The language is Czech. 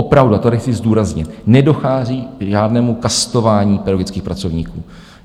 Opravdu, a to tady chci zdůraznit, nedochází k žádnému kastování pedagogických pracovníků.